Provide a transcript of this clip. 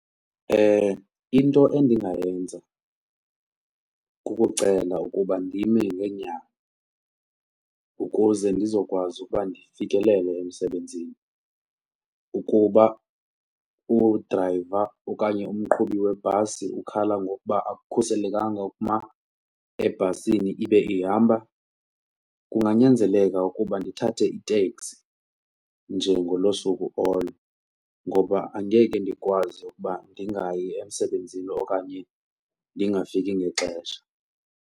Into endingayenza kukucela ukuba ndime ngeenyawo, ukuze ndizokwazi ukuba ndifikelele emsebenzini. Ukuba udrayiva okanye umqhubi webhasi ukhala ngokuba akukhuselekanga ukuma ebhasini ibe ihamba, kunganyanzeleka ukuba ndithathe iteksi nje ngoloo suku olo ngoba angeke ndikwazi ukuba ndingayi emsebenzini okanye ndingafiki ngexesha.